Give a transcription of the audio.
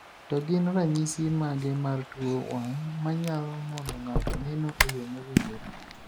To gin ranyisi mage mar tuo wang' manyalo mono ng'ato neno e yo mowinjore?